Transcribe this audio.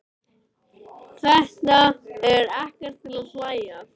Þetta er ekkert til að hlæja að!